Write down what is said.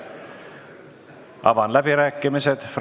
Avan fraktsioonide läbirääkimised.